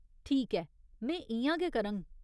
ठीक ऐ, में इ'यां गै करङ।